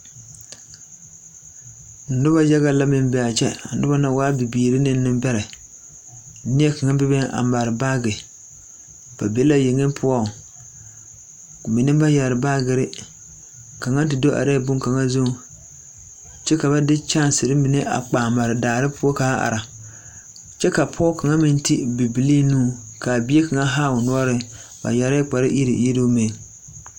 Noba yaga la meŋ be a kyɛ a noba na waa bibiiri ne niŋbɛrɛ neɛkaŋ bebe a mare baage ba be la yaga poɔŋ bamine ba yɛre bashers kaŋa te do arɛɛ boŋ kaŋa zuŋ kyɛ ka de boma mine a kpaa mare daa poɔŋ kyɛ ka pɔge kaŋa meŋ ti bibilee nuuriŋ bie kaŋa haao noɔre yɛrɛɛ kpare kyɔŋ iruŋ.